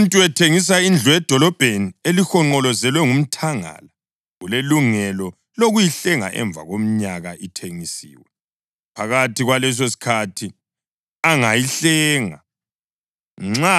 Nxa umuntu ethengisa indlu edolobheni elihonqolozelwe ngomthangala ulelungelo lokuyihlenga emva komnyaka ithengisiwe. Phakathi kwalesosikhathi angayihlenga.